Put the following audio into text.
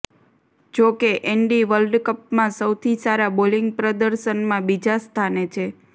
જો કે એન્ડી વર્લ્ડકપમાં સૌથી સારા બોલિંગ પ્રદર્શનમાં બીજા સ્થાને છે